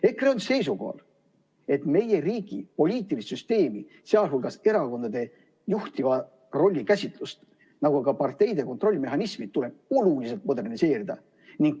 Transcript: EKRE on seisukohal, et meie riigi poliitilise süsteemi, sh erakondade juhtiva rolli käsitlust, nagu ka parteide kontrolli mehhanismi tuleb oluliselt moderniseerida.